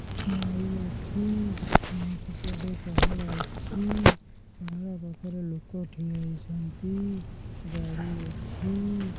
ନଈ ଅଛି ନଈ ସେପଟେ ପାହାଡ ଅଛି ପାହାଡ ପାଖରେ ଲୋକ ଠିଆ ହେଇଛନ୍ତି ଗାଡ଼ି ଅଛି।